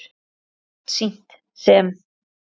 Þetta er oft sýnt sem